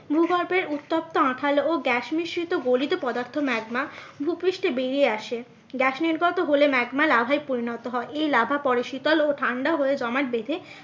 ভূগর্ভের উত্তপ্ত আঠালো ও গ্যাস মিশ্রিত গলিত পদার্থ ম্যাগমা ভুপৃষ্ঠে বেরিয়ে আসে। গ্যাস নির্গত হলে ম্যাগমা লাভার পরিণত হয় এই লাভা পরে শীতল ও ঠান্ডা হয়ে জমাট বেঁধে